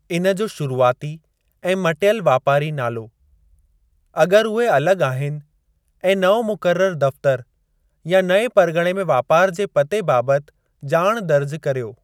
इन जो शुरूआती ऐं मटियलु वापारी नालो , अग॒रि उहे अलगि॒ आहिनि, ऐं नओं मुक़रर दफ़्तरु, या नएं परगि॒णे में वापार जे पते बाबति ॼाणु दर्ज करियो।